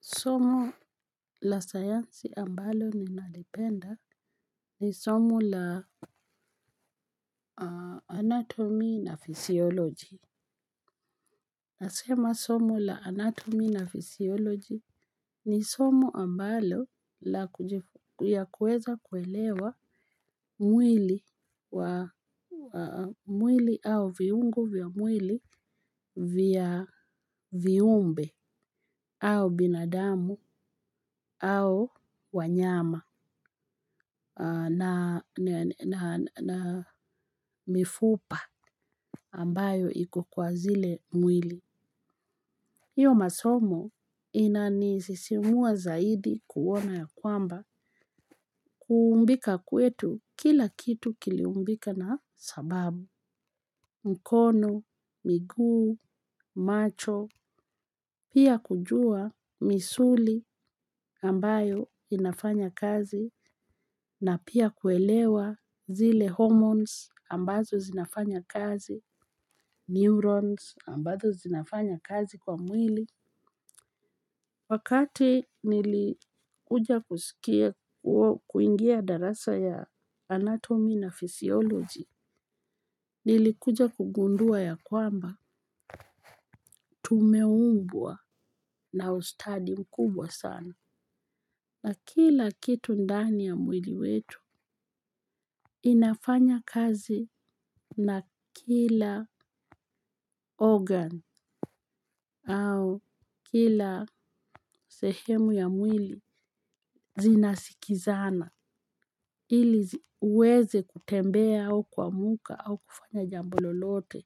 Somo la sayansi ambalo ni nalipenda ni somo la anatomi na fisioloji. Nasema somo la anatomi na fisioloji ni somo ambalo ya kuweza kuelewa mwili au viungo vya mwili vya viumbe au binadamu au wanyama na mifupa ambayo iko kwa zile mwili. Hiyo masomo ina nisisimua zaidi kuwona ya kwamba kuumbika kwetu kila kitu kiliumbika na sababu. Mkono, miguu, macho, pia kujua misuli ambayo inafanya kazi. Na pia kuelewa zile hormones ambazo zinafanya kazi, neurons ambazo zinafanya kazi kwa mwili. Wakati nilikuja kusikia kuingia darasa ya anatomi na physiology, nilikuja kugundua ya kwamba tumeumbwa na ustadi mkubwa sana. Na kila kitu ndani ya mwili wetu inafanya kazi na kila organ au kila sehemu ya mwili zinasikizana ili uweze kutembea au kuamka au kufanya jambo lolote.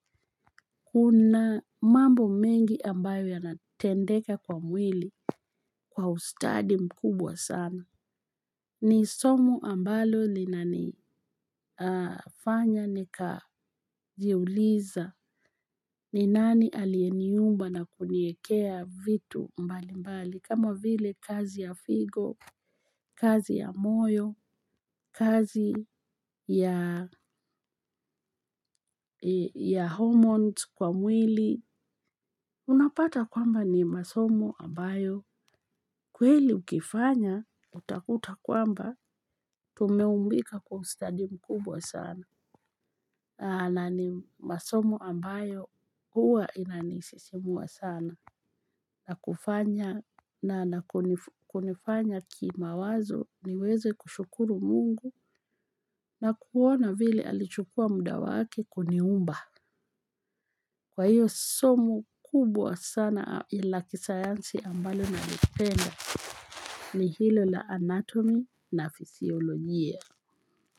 Kuna mambo mengi ambayo ya natendeka kwa mwili kwa ustadi mkubwa sana. Ni somo ambalo linani fanya ni kajiuliza ni nani alieniumba na kuniekea vitu mbali mbali. Kama vile kazi ya figo, kazi ya moyo, kazi ya homoni kwa mwili. Unapata kwamba ni masomo ambayo. Kweli mkifanya utakuta kwamba tume umbika ustadi mkubwa sana na ni masomo ambayo huwa inanisisimua sana na kufanya na na kunifanya kimawazo niweze kushukuru mungu na kuona vile alichukua muda wake kuniumba. Kwa hiyo somo kubwa sana la kisayansi ambalo nali penda ni hilo la anatomi na fisiolojia.